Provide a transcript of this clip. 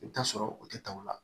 I bɛ t'a sɔrɔ o tɛ taa o la